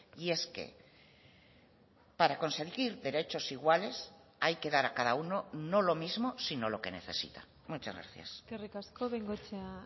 y es que para consentir derechos iguales hay que dar a cada uno no lo mismo sino lo que necesita muchas gracias eskerrik asko bengoechea